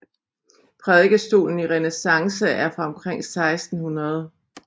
Prædikestolen i renæssance er fra omkring 1600